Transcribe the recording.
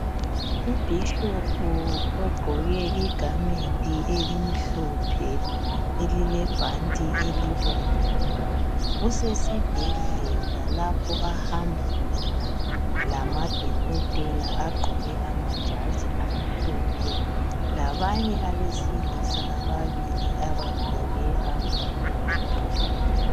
ubhishopu ogqoke igamenti elimhlophe elilebhanti elibomvu usesibhedlela lapho ahamba khona lamadokotela agqoke amajazi amhlophe labanye abesilisa ababili abagqoke amasudu